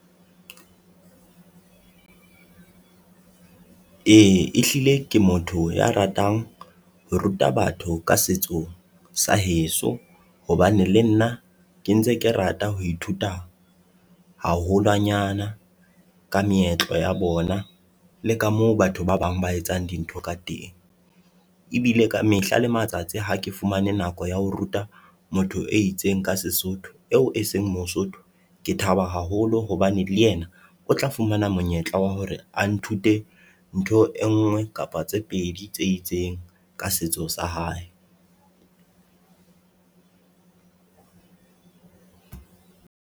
E, ehlile ke motho ya ratang ho ruta batho ka setso sa heso hobane le nna ke ntse ke rata ho ithuta haholwanyana ka meetlo ya bona le ka moo batho ba bang ba etsang dintho ka teng. Ebile ka mehla le matsatsi ha ke fumane nako ya ho ruta motho e itseng ka Sesotho, eo e seng Mosotho, ke thaba haholo hobane le yena o tla fumana monyetla wa hore a nthute ntho e nngwe kapa tse pedi tse itseng ka setso sa hae.